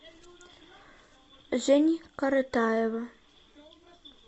жени коротаева